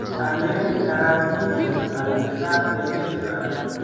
Alen karanitu aliet ab emet karon